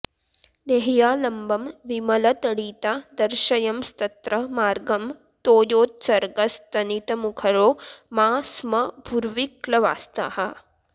देह्यालम्बं विमलतडिता दर्शयंस्तत्र मार्गं तोयोत्सर्गस्तनितमुखरो मा स्म भूर्विक्लवास्ताः